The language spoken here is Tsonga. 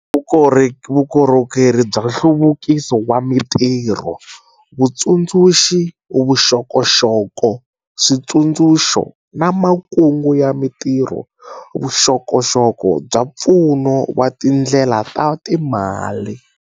Vukorhokeri bya nhluvukiso wa mitirho, Vutsundzuxi, vuxokoxoko, switsundzuxo na makungu ya mitirho - vuxokoxoko bya pfuno wa tindlela ta timali.